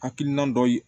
Hakilina dɔ ye